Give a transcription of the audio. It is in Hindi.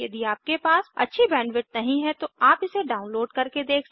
यदि आपके पास अच्छी बैंडविड्थ नहीं है तो आप इसे डाउनलोड करके देख सकते हैं